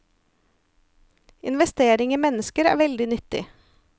Investering i mennesker er veldig nyttig.